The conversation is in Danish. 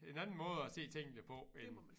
En anden måde at se tingene på end